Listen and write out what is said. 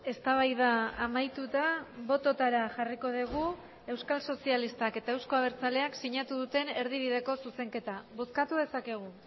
eztabaida amaituta bototara jarriko dugu euskal sozialistak eta euzko abertzaleak sinatu duten erdibideko zuzenketa bozkatu dezakegu